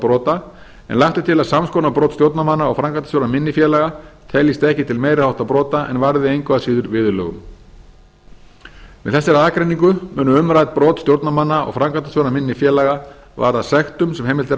brota en lagt er til að sams konar brot stjórnarmanna og framkvæmdastjóra minni félaga teljist ekki til meiri háttar brota en varði engu að síður viðurlögum með þessari aðgreiningu munu umrædd brot stjórnarmanna og framkvæmdastjóra minni félaga varða sektum sem heimilt er að